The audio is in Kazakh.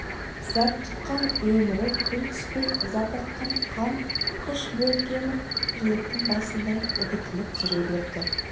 зәк тұтқан өмірі күн түспей ыза тартқан қам қыш бөркемік жіліктің басындай үгітіліп жүре берді